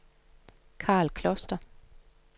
Karl Kloster